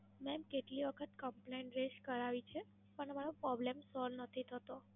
Madam, કેટલી વખત Complaint Raise કરાવી છે પણ મારો Problem Solve નથી થતો.